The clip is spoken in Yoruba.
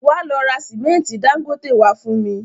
Wá lọ ra símẹ́ntì Dangote wá fún mi